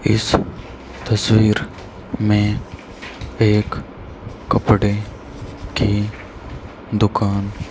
इस तस्वीर में एक कपड़े की दुकान--